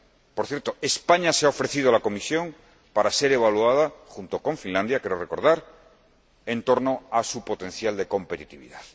Por cierto, España se ha ofrecido a la Comisión para ser evaluada, junto con Finlandia, creo recordar, en torno a su potencial de competitividad.